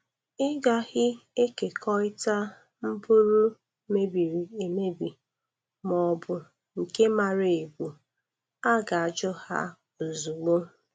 Ịgaghị ekekọịta mpụrụ mebiri emebi ma ọbụ nke mara ebu a ga-ajụ ha ozugbo.